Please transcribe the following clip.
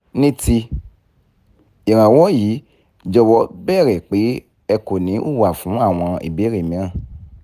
ní ti ìrànwọ́ yìí jọ̀wọ́ bẹ̀rẹ̀ pé ẹ kò ní í hùwà fún àwọn ìbéèrè mìíràn